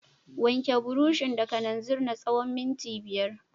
Wanke burushin da kananzir na tsawon minti biyar.